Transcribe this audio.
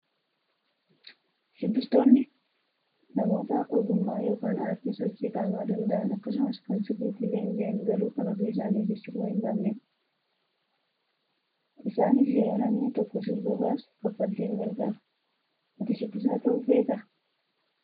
Shubbistoonni namoota ogummaa yookaan aartii sochii qaamaa danda'an akkasumas kan sirriitti leenji'an garuu kan ofii isaanii sirba hin baafnedha. Isaanis yeroo namni tokko sirba baasu kaffaltiin gargaaru. Ati shubbisaa ta'uu feetaa?